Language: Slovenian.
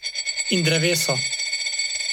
In drevesa.